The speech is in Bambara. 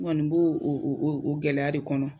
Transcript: N kɔni b'o gɛlɛya de kɔnɔ.